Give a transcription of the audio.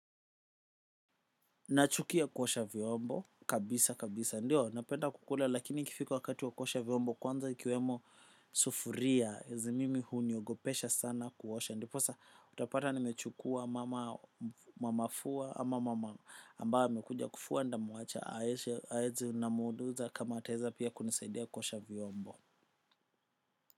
Nachukia kuosha vyombo, kabisa kabisa, ndio, napenda kukula, lakini ikifika wakati wa kuosha vyombo kwanza ikiwemo sufuria, zi mimi huniogopesha sana kuosha, ndiposa utapata nimechukua, mama, mamafua, ama mama ambaye amekuja kufua nitamuacha, aeze namuuliza kama ataweza pia kunisaidia kuosha vyombo.